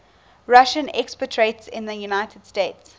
russian expatriates in the united states